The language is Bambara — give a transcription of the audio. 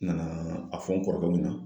N nanaa a fɔ n kɔrɔkɛw ɲɛna